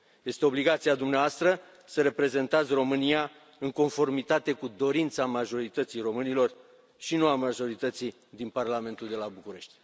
Este obligația dumneavoastră să reprezentați România în conformitate cu dorința majorității românilor și nu a majorității din Parlamentul de la București.